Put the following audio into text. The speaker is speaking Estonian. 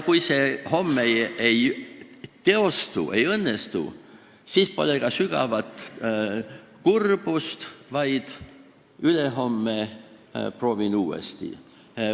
Kui see homme ei õnnestu, siis pole ka sügavat kurbust, vaid ma proovin ülehomme uuesti.